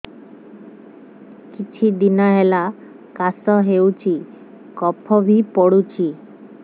କିଛି ଦିନହେଲା କାଶ ହେଉଛି କଫ ବି ପଡୁଛି